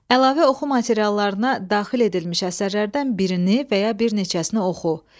Əlavə oxu materiallarına daxil edilmiş əsərlərdən birini və ya bir neçəsini oxu.